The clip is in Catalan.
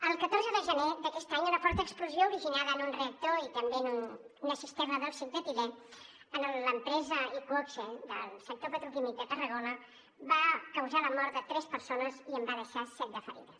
el catorze de gener d’aquest any una forta explosió originada en un reactor i també en una cisterna d’òxid d’etilè a l’empresa iqoxe del sector petroquímic de tarragona va causar la mort de tres persones i en va deixar set de ferides